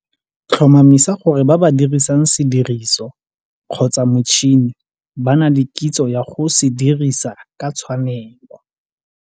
Tlhomamisa gore ba ba dirisang sediriso kgotsa motšhene ba na le kitso ya go se dirisa ka tshwanelo.